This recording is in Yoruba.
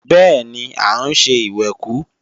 Bẹ́ẹ̀ni, à ń ṣe ìwẹ̀kú